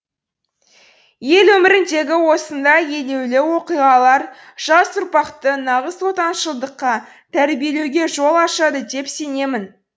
ел өміріндегі осындай елеулі оқиғалар жас ұрпақты нағыз отаншылдыққа тәрбиелеуге жол ашады деп сенемін